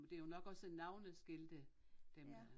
Men det jo nok også navneskilte dem dér